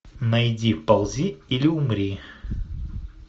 найди ползи или умри